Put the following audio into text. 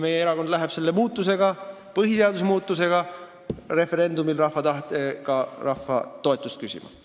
Meie erakond läheb selle muutmiseks, põhiseaduse muutmiseks rahva tahtega referendumil rahva toetust küsima.